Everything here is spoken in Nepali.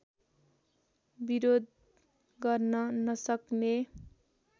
विरोध गर्न नसक्ने